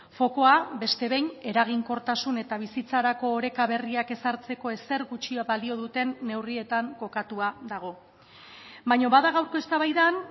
fokua beste behin eraginkortasun eta bizitzarako oreka berriak ezartzeko ezer gutxi balio duten neurrietan kokatua dago baina bada gaurko eztabaidan